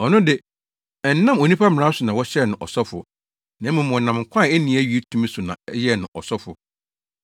Ɔno de, ɛnnam onipa mmara so na wɔhyɛɛ no ɔsɔfo, na mmom wɔnam nkwa a enni awiei tumi so na ɛyɛɛ no ɔsɔfo.